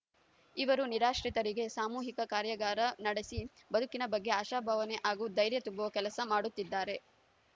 ಇವರು ನಿರಾಶ್ರಿತರಿಗೆ ಸಾಮೂಹಿಕ ಕಾರ್ಯಾಗಾರ ನಡೆಸಿ ಬದುಕಿನ ಬಗ್ಗೆ ಆಶಾಭಾವನೆ ಹಾಗೂ ಧೈರ್ಯ ತುಂಬುವ ಕೆಲಸ ಮಾಡುತ್ತಿದ್ದಾರೆ